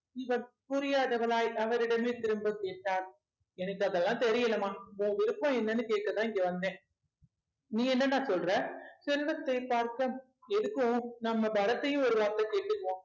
இவர் புரியாதவளாய் அவரிடமே திரும்பக் கேட்டாள் எனக்கு அதெல்லாம் தெரியலைம்மா உன் விருப்பம் என்னன்னு கேட்கத்தான் இங்க வந்தேன் நீ என்னடா சொல்ற செல்வத்தைப் பார்க்க எதுக்கும் நம்ம பரத்தையும் ஒரு வார்த்தை கேட்டுக்குவோம்